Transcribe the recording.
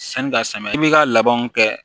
Sani ka samiya i b'i ka labɛnw kɛ